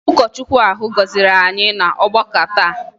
Ụkọchukwu ahụ gọziri anyị n'ọgbakọ taa